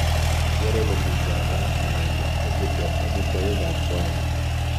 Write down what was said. keer olemi java nenegit ak iteb omitwogik ab wali